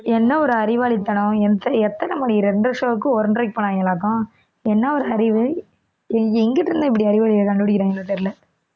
என்ன ஒரு அறிவாளித்தனம் எத்~ எத்தனை மணி இரண்டரை show க்கு ஒன்றரைக்கு போனாங்களாக்கும் என்ன ஒரு அறிவு எங்~ எங்கிட்டு இருந்துதான் இப்படி அறிவாளியை கண்டுபிடிக்கிறாங்களோ தெரியல